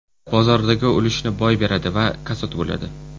Bozordagi ulushini boy beradi va kasod bo‘ladi.